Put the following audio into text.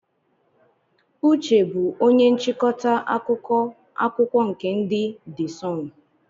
Uche bụ onye nchịkọta akụkọ akwụkwọ nke ndị de Sunụ.